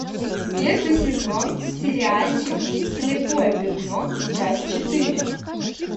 первый сезон сериальчик слепое пятно часть четыре